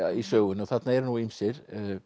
í sögunni og þarna eru nú ýmsir